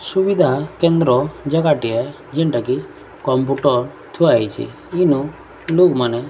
ସୁବିଧା କେନ୍ଦ୍ର ଜାଗାଟିଏ ଯେଣ୍ଟା କି କମ୍ପ୍ୟୁଟର ଥୁଆହେଇଚି ଇନୁ ଲୁକ୍ ମାନେ --